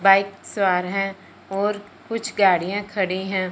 Bike सवार हैं और कुछ गाड़ियां खड़ी हैं।